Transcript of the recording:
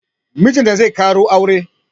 Mijinta zai ƙaro aure